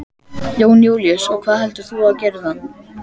Jón Júlíus: Og hvað heldurðu að þú gerir við hann?